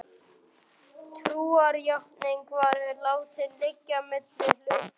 Trúarjátningin var látin liggja milli hluta.